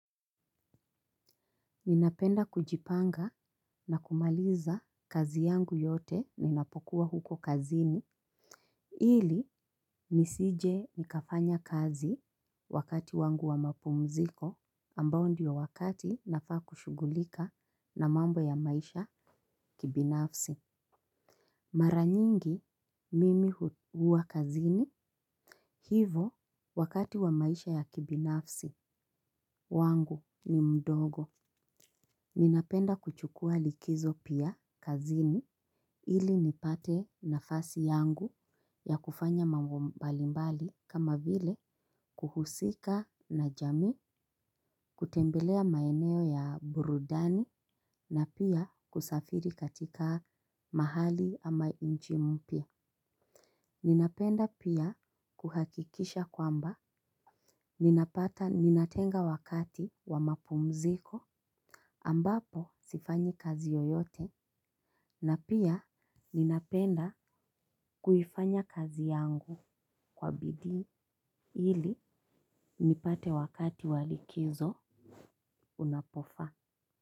Ninapenda kujipanga na kumaliza kazi yangu yote ninapokuwa huko kazini. Hili nisije nikafanya kazi wakati wangu wa mapumziko ambao ndiyo wakati nafaa kushugulika na mambo ya maisha kibinafsi. Mara nyingi mimi hukua kazini hivo wakati wa maisha ya kibinafsi wangu ni mdogo. Ninapenda kuchukua likizo pia kazini ili nipate nafasi yangu ya kufanya mambo mbalimbali kama vile kuhusika na jamii, kutembelea maeneo ya burudani na pia kusafiri katika mahali ama nchi mpya. Ninapenda pia kuhakikisha kwamba ninapata ninatenga wakati wa mapumziko ambapo sifanyi kazi yoyote na pia ninapenda kuifanya kazi yangu kwa bidii ili nipate wakati wa likizo unapofa.